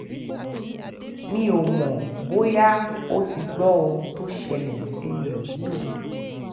mi ò mọ̀ bóyá ó ti gbọ́ ohun tó ṣẹlẹ̀ sí mi yìí o